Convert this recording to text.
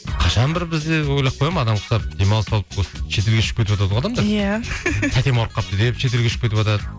қашан бір біз де ойлап қоямын адамға ұқсап демалыс алып осы шет елге ұшып кетіватады ғой адамдар иә тәтем ауырып қалыпты деп шет елге ұшып кетіватады